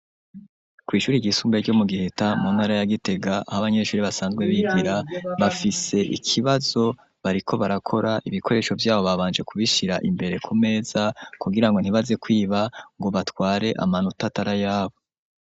kwishuri ry'isumbuye ryo mu Giheta muntara ya Gitega ahi abanyeshuri basanzwe bigira bafise ikibazo bariko barakora ibikoresho vyabo babanje kubishira imbere kumeza kugirango ntibaze kwiba ngo batware amanota atari yabo.